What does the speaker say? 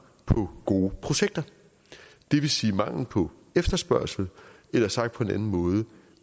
på gode projekter det vil sige mangel på efterspørgsel eller sagt på en anden måde